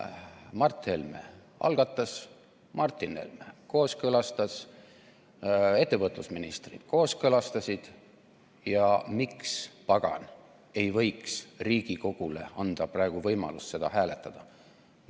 Mart Helme algatas, Martin Helme kooskõlastas, ettevõtlusministrid kooskõlastasid ja miks pagan ei võiks Riigikogule anda praegu võimalust seda hääletada?